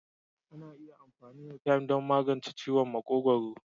Ana iya amfani da "thyme" don magance ciwon makogwaro.